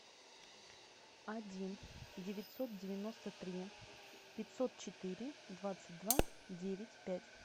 один девятьсот девяносто три пятьсот четыре двадцать два девять пять